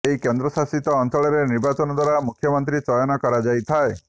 ଏହି କେନ୍ଦ୍ରଶାସିତ ଅଞ୍ଚଳରେ ନିର୍ବାଚନ ଦ୍ବାରା ମୁଖ୍ୟମନ୍ତ୍ରୀ ଚୟନ କରାଇଥାଏ